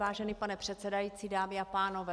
Vážený pane předsedající, dámy a pánové.